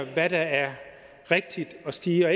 hvad der er rigtigt at sige og